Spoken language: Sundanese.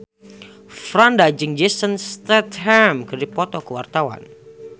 Franda jeung Jason Statham keur dipoto ku wartawan